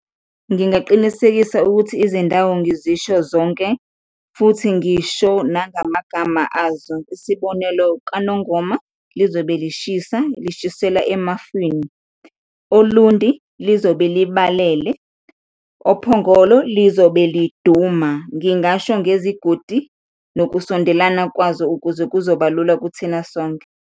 Ngingaqinisekisa ukuthi izindawo ngizisho zonke futhi ngisho nangamagama azo, isibonelo kaNongoma lizobe lishisa, lishisela emafini, Olundi lizobe libalele, Ophongolo lizobe liduma. Ngingasho ngezigodi nokusondelana kwazo ukuze kuzoba lula kuthina sonke.